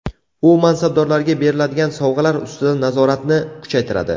U mansabdorlarga beriladigan sovg‘alar ustidan nazoratni kuchaytiradi.